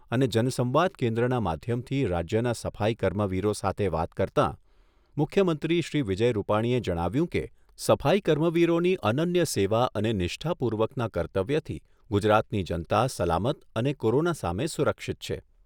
અને જનસંવાદ કેન્દ્રના માધ્યમથી રાજ્યના સફાઈ કર્મવીરો સાથે વાત કરતાં મુખ્યમંત્રી શ્રી વિજય રૂપાણીએ જણાવ્યુંં કે, સફાઈ કર્મવીરોની અનન્ય સેવા અને નિષ્ઠાપૂર્વકના કર્તવ્યથી ગુજરાતની જનતા સલામત અને કોરોના સામે સુરક્ષિત છે.